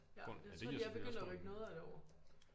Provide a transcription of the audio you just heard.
Ja jeg tror de er begyndt at rykke noget af det over